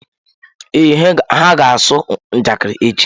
Ee, ha ga-asụ njakịrị echi.